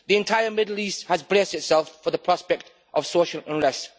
The entire Middle East has braced itself for the prospect of social unrest.